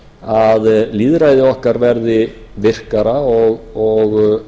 að lýðræði okkar verði virkara og